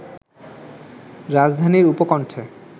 রাজধানীর উপকণ্ঠে